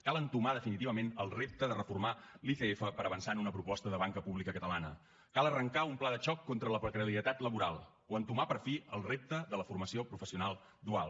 cal entomar definitivament el repte de reformar l’icf per avançar en una proposta de banca pública catalana cal arrencar un pla de xoc contra la precarietat laboral o entomar per fi el repte de la formació professional dual